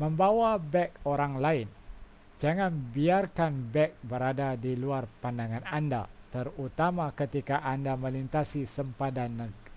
membawa beg orang lain jangan biarkan beg berada di luar pandangan anda terutama ketika anda melintasi sempadan